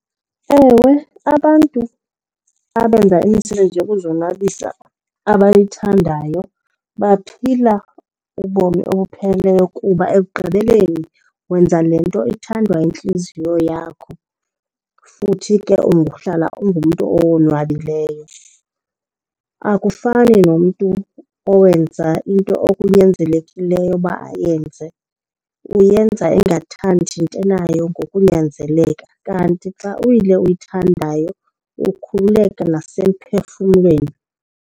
Ewe, abantu abenza imisebenzi yokuzonwabisa abayithandayo baphila ubomi obupheleleyo kuba ekugqibeleni wenza le nto ithandwa intliziyo yakho futhi ke uhlala ungumntu owonwabileyo. Akufani nomntu owenza into okunyanzelekileyo uba ayenze, uyenza engathandi into nayo ngokunyanzeleka. Kanti xa uyile uyithandayo, ukhululeka nasemphefumlweni.